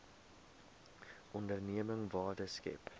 onderneming waarde skep